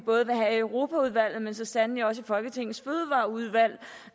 europaudvalget men så sandelig også i folketingets fødevareudvalg